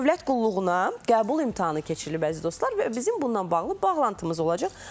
Dövlət qulluğuna qəbul imtahanı keçirilib əziz dostlar və bizim bununla bağlı bağlantımız olacaq.